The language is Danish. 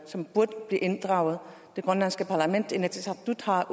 som burde blive inddraget og det grønlandske parlament inatsisartut har